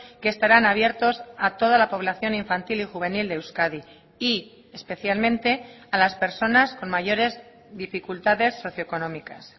que estarán abiertos a toda la población infantil y juvenil de euskadi y especialmente a las personas con mayores dificultades socioeconómicas